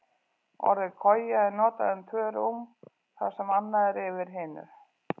Orðið koja er notað um tvö rúm þar sem annað er yfir hinu.